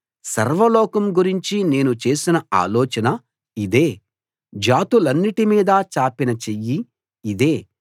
సర్వలోకం గురించి నేను చేసిన ఆలోచన ఇదే జాతులన్నిటి మీదా చాపిన చెయ్యి ఇదే